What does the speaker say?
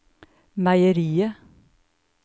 meieriet